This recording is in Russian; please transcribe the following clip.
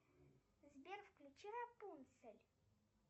сбер включи рапунцель